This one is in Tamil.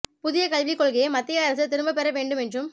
புதிய கல்விக் கொள்கையை மத்திய அரசு திரும்பப் பெற வேண்டும் என்றும்